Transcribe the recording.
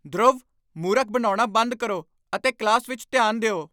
ਧਰੁਵ, ਮੂਰਖ ਬਣਾਉਣਾ ਬੰਦ ਕਰੋ ਅਤੇ ਕਲਾਸ ਵਿੱਚ ਧਿਆਨ ਦਿਓ!